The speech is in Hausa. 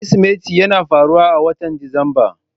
Kirsimeti yana faruwa a watan Disamba.